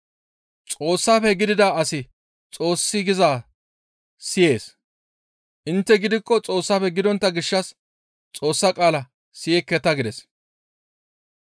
Xoossafe gidida asi Xoossi gizaa siyees; intte gidikko Xoossafe gidontta gishshas Xoossa qaala siyekketa» gides.